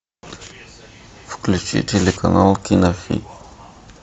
включи телеканал кинови